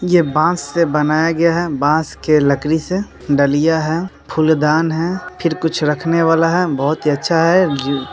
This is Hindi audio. ये बास से बनाया गया है बास के लकड़ी से डलिया है फूल-दान है फिर कुछ रखने वाला है बहुत ही अच्छा है। गिर --